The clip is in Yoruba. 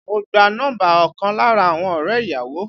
Mo gba nọ́mbà ọkàn lára àwọn ọrẹ ìyàwó